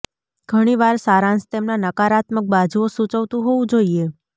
ઘણી વાર સારાંશ તેમના નકારાત્મક બાજુઓ સૂચવતું હોવું જોઈએ